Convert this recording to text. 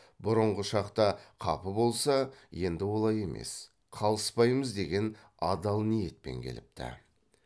бұрынғы шақта қапы болса енді олай емес қалыспаймыз деген адал ниетпен келіпті